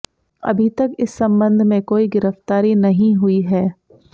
अभी तक इस संबंध में कोई गिरफ्तारी नहीं हुई है